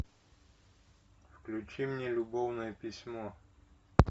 включи мне любовное письмо